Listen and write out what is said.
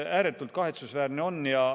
Ääretult kahetsusväärne.